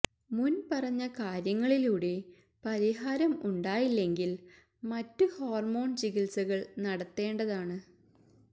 മുന് പറഞ്ഞ കാര്യങ്ങളിലൂടെ പരിഹാരം ഉണ്ടായില്ലെങ്കില് മറ്റു ഹോര്മോണ് ചികിത്സകള് നടത്തേണ്ടതാണ്